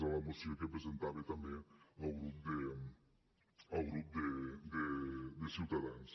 a la moció que presentava també el grup de ciutadans